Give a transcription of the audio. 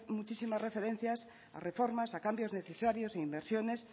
muchisimas referencias a reformas a cambios necesarios inversiones